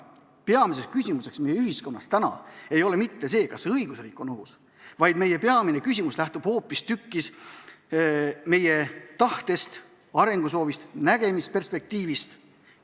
Peamine küsimus meie ühiskonnas ei ole praegu mitte see, kas õigusriik on ohus, vaid meie peamine küsimus lähtub hoopistükkis meie tahtest, arengusoovist, nägemisperspektiivist.